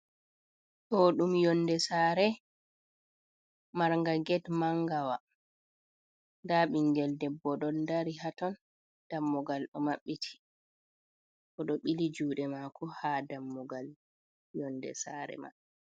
Ɗoo ɗum yonnde saare, Mar nga geet maangawaa, nda ɓinngel debbo ɗon dari haaton, dammugal ɗo maɓɓti oɗoo ɓilii juudee maako ha dammugal yonnde saare mai